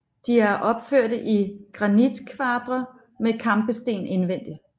De er opførte i granitkvadre med kampesten indvendigt